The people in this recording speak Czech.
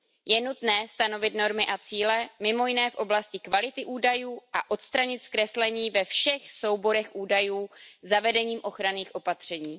Je nutné stanovit normy a cíle mimo jiné v oblasti kvality údajů a odstranit zkreslení ve všech souborech údajů zavedením ochranných opatření.